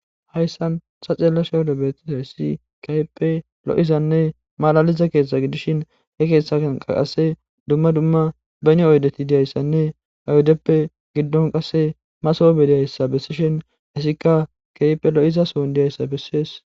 Hayssan ta xeelishin beetizayssi keehippe lo7izanne malaliza keeththa gidishin he keeththa achankka qasse beni oyddeti diyayssanne gidon qasse qasse masoobe diyayssa besishin ettikka keehipe lo7iza diyayssa besees.